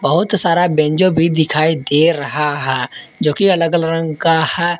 बहुत सारा बैंजो भी दिखाई दे रहा है जो कि अलग अलग रंग का है।